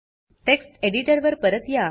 text editor वर परत या